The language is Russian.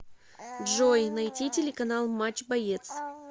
джой найти телеканал матч боец